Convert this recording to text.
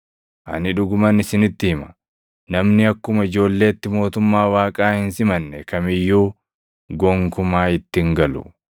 Ani dhuguman isinitti hima; namni akkuma ijoolleetti mootummaa Waaqaa hin simanne kam iyyuu gonkumaa itti hin galu.”